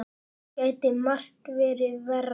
Það gæti margt verið verra.